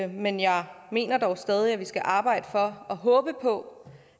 men jeg mener dog stadig at vi skal arbejde for og håbe på